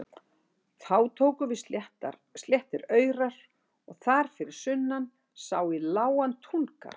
Þá tóku við sléttir aurar og þar fyrir sunnan sá í lágan túngarð.